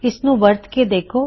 ਇਸਦਾ ਇਸਤੇਮਾਲ ਕਰਕੇ ਵੇਖਣਾ